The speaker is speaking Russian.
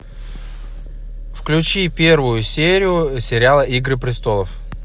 включи первую серию сериала игры престолов